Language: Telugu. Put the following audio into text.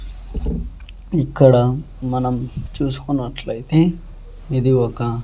ఇక్కడ మనం చూసుకున్నట్లయితే ఇది ఒక.